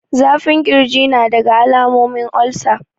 Zafin kirji nadaga alamomin olsa